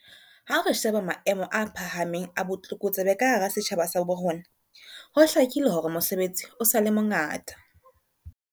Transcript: Ha re sheba maemo a phahameng a botlokotsebe ka hara setjhaba sa bo rona, ho hlakile hore mosebetsi o sa le mongata.